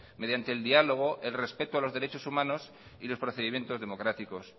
mediante el diálogo el respeto a los derechos humanos y los procedimientos democráticos